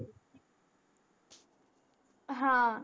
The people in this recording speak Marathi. हा